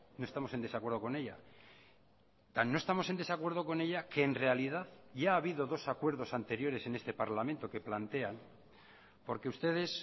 no estamos en desacuerdo con ella no estamos en desacuerdo con ella que en realidad ya ha habido dos acuerdos anteriores en este parlamento que plantean porque ustedes